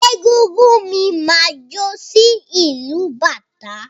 Egúngún mi máa jó sí ìlù bàtá.